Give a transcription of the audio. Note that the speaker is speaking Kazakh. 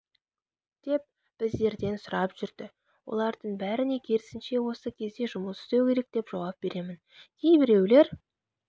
деп біздерден сұрап жүрді олардың бәріне керісінше осы кезде жұмыс істеу керек деп жауап беремін кейбіреулер